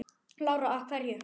Lára: Af hverju?